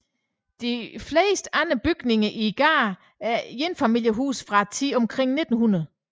De fleste andre bygninger i gaden er enfamilieshuse fra tiden omkring 1900